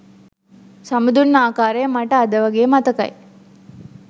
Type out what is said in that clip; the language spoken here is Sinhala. සමුදුන් ආකාරය මට අද වගේ මතකයි